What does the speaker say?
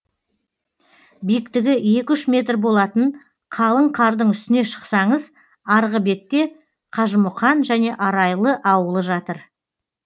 биіктігі екі үш метр болатын қалың қардың үстіне шықсаңыз арғы бетте қажымұқан және арайлы ауылы жатыр